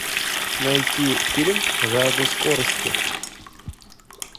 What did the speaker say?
найти фильм жажда скорости